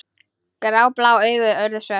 Gráblá augun urðu svört.